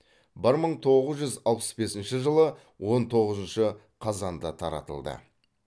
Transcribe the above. бір мың тоғыз жүз алпыс бесінші жылы он тоғызыншы қазанда таратылды